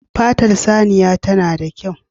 Fatar saniya ta na da kyau